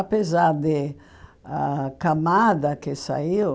Apesar de a camada que saiu,